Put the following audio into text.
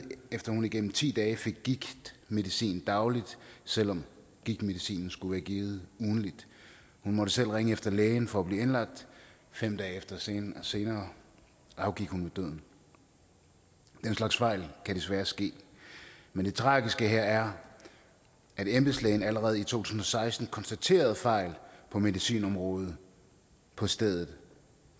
efter at hun igennem ti dage fik gigtmedicin dagligt selv om gigtmedicinen skulle have været givet ugentligt hun måtte selv ringe efter lægen for at blive indlagt fem dage senere afgik hun ved døden den slags fejl kan desværre ske men det tragiske her er at embedslægen allerede i to tusind og seksten konstaterede fejl på medicinområdet på stedet